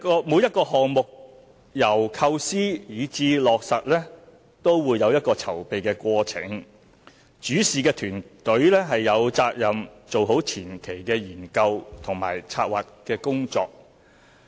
每一個項目由構思至落實都會有籌備的過程，主事團隊有責任做好前期的研究和策劃工作。